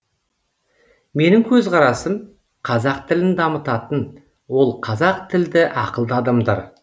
менің көзқарасым қазақ тілін дамытатын ол қазақ тілді ақылды адамдар